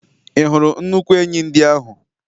Ị hụrụ nnukwu enyí ndị ahụ?